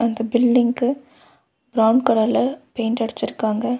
இந்த பில்டிங்க்கு பிரவுன் கலர்ல பெயிண்ட் அடுச்சிருக்காங்க.